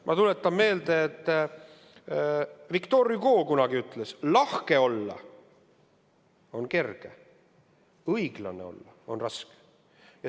Ma tuletan meelde, et Victor Hugo on öelnud: "Lahke olla on kerge, õiglane olla on raske.